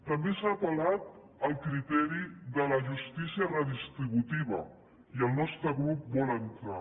també s’ha apel·lat al criteri de la justícia redistributiva i el nostre grup hi vol entrar